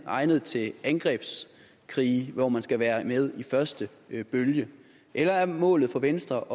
egnet til angrebskrige hvor man skal være med i første bølge eller er målet for venstre